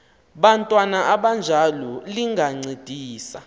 bantwana abanjalo lingancedisa